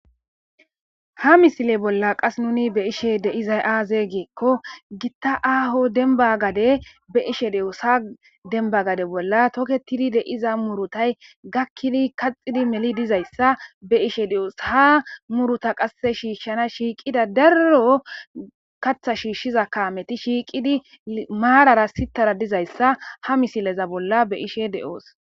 ha misile bolla qas nuni be ishe deizay aaze geekko gitta aaho denba gade be ishe de7oos ha denba gade bolla toketidi de iza murutay gakkidi kaxidi meli dizayssa be ishe de7oos ha muruta qasse shiishshana shiiqida darro katha shiishshiza kaameti shiiqidi maalara sitara dizayssa ha misileza bolla be ishe de7oos